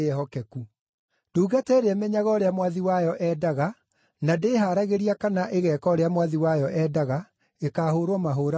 “Ndungata ĩrĩa ĩmenyaga ũrĩa mwathi wayo endaga na ndĩĩhaaragĩria kana ĩgeeka ũrĩa Mwathi wayo endaga, ĩkaahũũrwo mahũũra maingĩ.